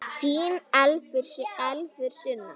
Þín Elfur Sunna.